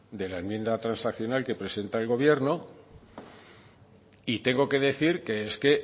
de la enmienda transaccional que presenta el gobierno y tengo que decir que es que